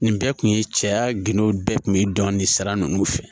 Nin bɛɛ kun ye cɛya gindow bɛɛ kun ye dɔni sara ninnu fɛ